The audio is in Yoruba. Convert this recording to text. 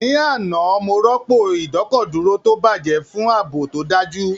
Ní àná, mo rọ́pò ìdọ́kọ̀dúró tó bàjẹ́ fún ààbò tó dájú